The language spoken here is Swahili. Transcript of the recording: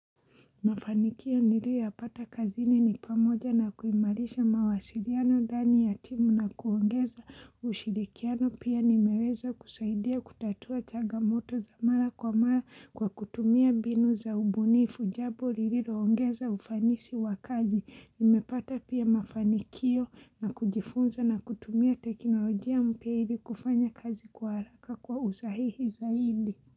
Mafanikio niliyoyapata kazini ni pamoja na kuimarisha mawasiliano ndani ya timu na kuongeza ushirikiano pia nimeweza kusaidia kutatua changamoto za mara kwa mara kwa kutumia mbinu za ubunifu jambo lililoongeza ufanisi wa kazi. Nimepata pia mafanikio na kujifunza na kutumia teknolojia mpya ili kufanya kazi kwa haraka kwa usahihi zaidi.